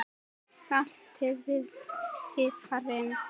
Saltið vel og piprið.